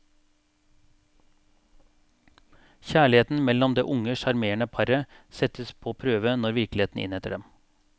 Kjærligheten mellom det unge, sjarmerende paret settes på prøve når virkeligheten innhenter dem.